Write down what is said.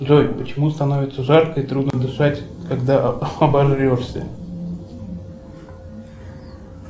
джой почему становится жарко и трудно дышать когда обожрешься